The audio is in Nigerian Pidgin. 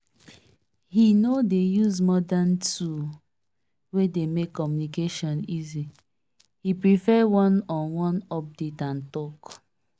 he no dey use modern tool wey dey make communication easy he prefer one on one update and talk